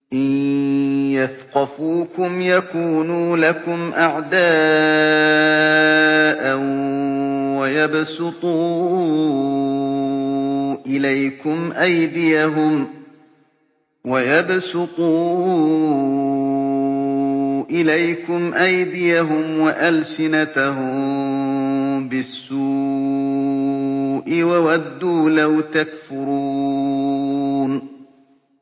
إِن يَثْقَفُوكُمْ يَكُونُوا لَكُمْ أَعْدَاءً وَيَبْسُطُوا إِلَيْكُمْ أَيْدِيَهُمْ وَأَلْسِنَتَهُم بِالسُّوءِ وَوَدُّوا لَوْ تَكْفُرُونَ